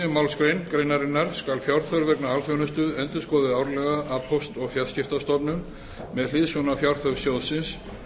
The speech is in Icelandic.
málsgrein greinarinnar skal fjárþörf vegna alþjónustu endurskoðuð árlega af póst og fjarskiptastofnun með hliðsjón af fjárþörf sjóðsins